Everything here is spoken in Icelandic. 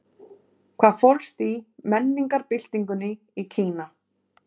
Hvað fólst í menningarbyltingunni í Kína?